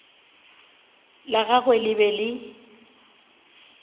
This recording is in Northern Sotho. la gagwe le be le